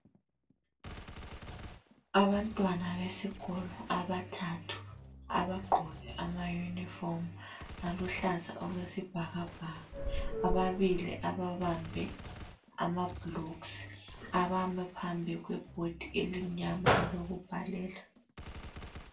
Abantwana besikolo abathathu abagqoke amayunifomu aluhlaza okwesibhakabhaka. Ababili ababambe amablocks abame phambi kwebhodi elimnyama elokubhalela.